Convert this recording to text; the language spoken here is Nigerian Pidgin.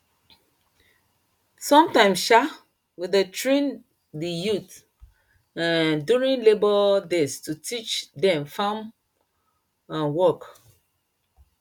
sometimes um we dey train di youth um during labour days to teach dem farm um work